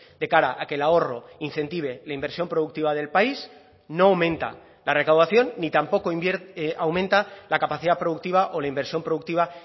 de cara a que el ahorro incentive la inversión productiva del país no aumenta la recaudación ni tampoco aumenta la capacidad productiva o la inversión productiva